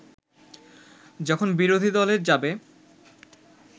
যখন বিরোধীদলে যাবে